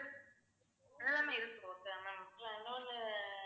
இதெல்லாம் தாம் ma'am இருக்கு okay வா இன்னுனு